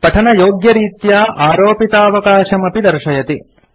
पठनयोग्यरीत्या आरोपितावकाशम् अपि दर्शयति